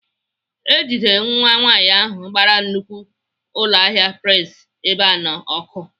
E jidere nwa nwaanyị ahụ gbara nnukwu ụlọahịa Prince Ebeano ọkụ.